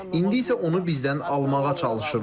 İndi isə onu bizdən almağa çalışırlar.